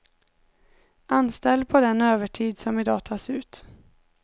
Anställ på den övertid som i dag tas ut.